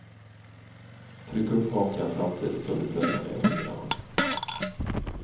Tryck upp hakan samtidigt som du pressar ner fingrarna.